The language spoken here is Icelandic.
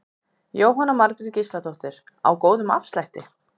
Jóhanna Margrét Gísladóttir: Á góðum afslætti?